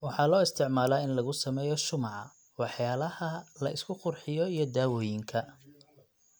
Waxa loo isticmaalaa in lagu sameeyo shumaca, waxyaalaha la isku qurxiyo, iyo dawooyinka.